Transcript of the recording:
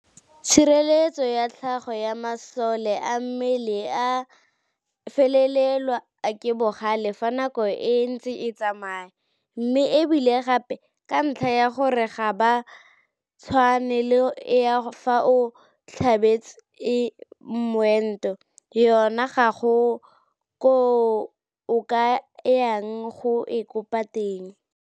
Tshireletso ya tlhago ya masole a mmele e felelwa ke bogale fa nako e ntse e tsamaya, mme e bile gape ka ntlha ya gore ga e tshwane le ya fa o tlhabetse moento, yona ga go koo o ka yang go e kopa teng.